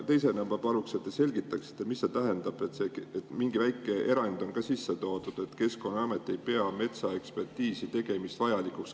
Teisena ma paluksin, et te selgitaksite, mida see tähendab, et mingi väike erand on ka sisse toodud: Keskkonnaamet ei pea metsaekspertiisi tegemist vajalikuks.